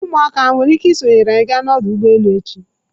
Ụmụaka o nwere ike isonyere anyị ga n'ọdụ ụgbọ elu echi?